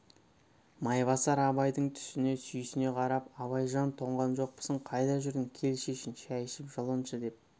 майбасар абайдың түсіне сүйсіне қарап абайжан тоңған жоқпысың қайда жүрдің кел шешін шай ішіп жылыншы деп